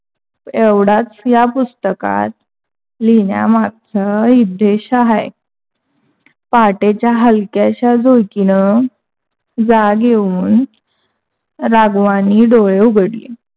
एवढाच ह्या पुस्तकात लिहिण्या मागचा उद्देश आहे. पहाटेच्या हलक्याशा झूळकिन जाग येऊन राघवांणी डोळे उघडले.